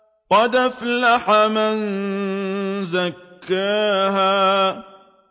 قَدْ أَفْلَحَ مَن زَكَّاهَا